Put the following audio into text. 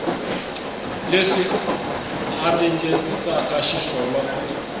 leswi a ringetisaka xiswona ku